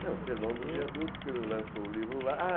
Então, do Sermão do Viaduto, quando ele lançou o livro lá. Ah!